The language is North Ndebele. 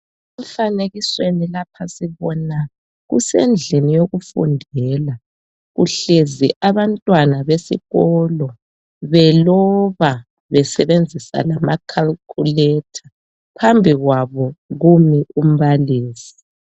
Emfanekisweni lapha sibona kusendlini yokufundela kuhlezi abantwana besikolo beloba besebenzisa lama calculator phambi kwabo kumi umbalisi .